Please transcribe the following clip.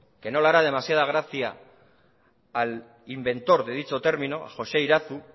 que no le hará demasiada gracia al inventor de dicho término a joxe irazu